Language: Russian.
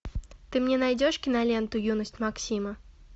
ты мне найдешь киноленту юность максима